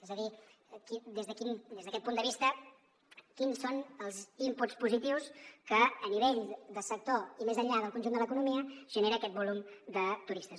és a dir des d’aquest punt de vista quins són els inputs positius que a nivell de sector i més enllà del conjunt de l’economia genera aquest volum de turistes